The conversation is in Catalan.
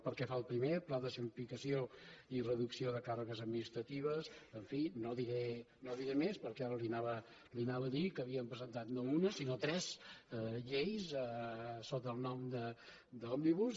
pel que fa al primer al pla de simplificació i reducció de càrregues administratives en fi no diré més perquè ara li anava a dir que havíem presentat no una sinó tres lleis sota el nom d’ òmnibus